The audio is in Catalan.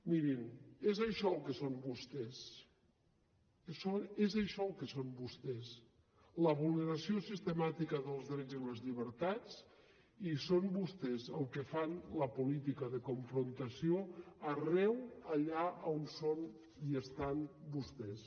mirin és això el que són vostès és això el que són vostès la vulneració sistemàtica dels drets i les llibertats i són vostès els que fan la política de confrontació arreu allà on són i estan vostès